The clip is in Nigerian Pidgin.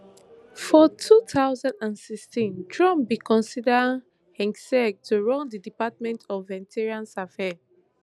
for two thousand and sixteen trump bin consider hegseth to run di department of veterans affairs